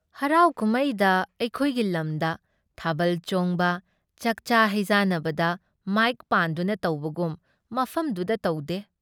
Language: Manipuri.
ꯍꯔꯥꯎꯀꯨꯝꯃꯩꯗ ꯑꯩꯈꯣꯏꯒꯤ ꯂꯝꯗ ꯊꯥꯕꯜ ꯆꯣꯡꯕ, ꯆꯥꯛꯆꯥ ꯍꯩꯖꯥꯅꯕꯗ ꯃꯥꯏꯛ ꯄꯥꯟꯗꯨꯅ ꯇꯧꯕꯒꯨꯝ ꯃꯐꯝꯗꯨꯗ ꯇꯧꯗꯦ,